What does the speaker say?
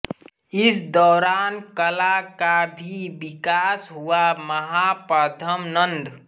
इस दौरान कला का भी विकास हुआ महापद्मा नंद